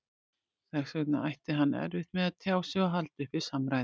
Þess vegna ætti hann erfitt með að tjá sig og halda uppi samræðum.